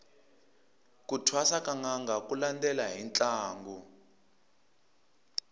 ku thwasa ka nanga ku landela hi ntlangu